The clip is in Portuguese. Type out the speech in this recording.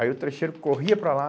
Aí o trecheiro corria para lá.